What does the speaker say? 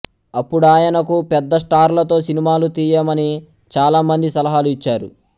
అప్పుడాయనకు పెద్ద స్టార్లతో సినిమాలు తీయమని చాలామంది సలహాలు ఇచ్చారు